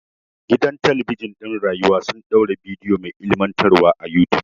Gidan talabijin ɗin rayuwa sun ɗaura bidiyo mai ilimantarwa a yutub.